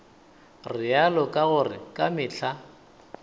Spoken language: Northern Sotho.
realo ka gore ka mehla